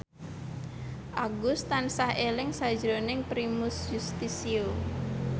Agus tansah eling sakjroning Primus Yustisio